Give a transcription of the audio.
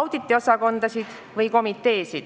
auditiosakondasid või -komiteesid.